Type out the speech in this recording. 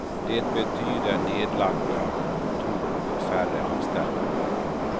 Det betyder nedlagda kontor och färre anställda.